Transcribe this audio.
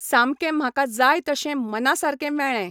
सामकें म्हाका जाय तशें मना सारकें मेळ्ळें.